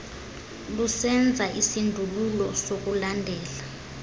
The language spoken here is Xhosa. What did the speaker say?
lusenza isindululo sokulandela